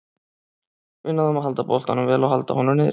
Við náðum að halda boltanum vel og halda honum niðri.